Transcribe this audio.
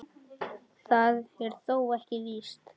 Það er þó ekki víst.